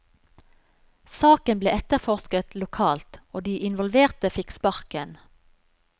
Saken ble etterforsket lokalt, og de involverte fikk sparken.